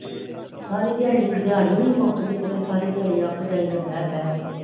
ਸਾਰੀ ਦਿਹਾੜੀ, ਦਿਹਾੜੀ ਨੀ ਮੁਕਦੀ ਕੀਤੇ ਸਾਰੀ ਦਿਹਾੜੀ ਅਕ ਜਾਈਦਾ ਹੈ ਬੈ ਬੈ ਕੇ